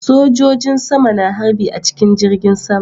Sojojin sama na harbi a cikin jirgin sama